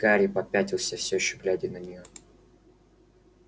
гарри попятился всё ещё глядя на неё